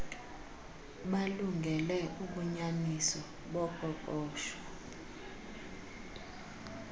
balungele ubunyaniso boqoqsho